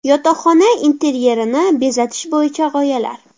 Yotoqxona interyerini bezatish bo‘yicha g‘oyalar.